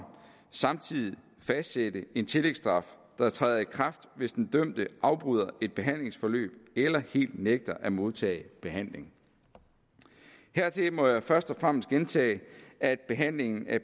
samtidig fastsætte en tillægsstraf der træder i kraft hvis den dømte afbryder et behandlingsforløb eller helt nægter at modtage behandling hertil må jeg først og fremmest gentage at behandlingen af